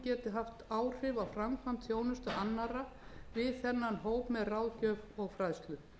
að hún geti haft áhrif á framkvæmd þjónustu annarra við þennan hóp með ráðgjöf og